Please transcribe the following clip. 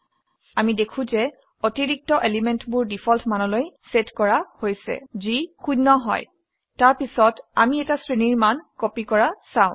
আমি দেখো যে অতিৰিক্ত এলিমেন্টবোৰ ডিফল্ট মানলৈ সেট কৰা হৈছে যি 0 হয় তাৰ পিছত আমি এটা শ্ৰেণীৰ মান কপি কৰা চাও